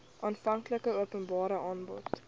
aanvanklike openbare aanbod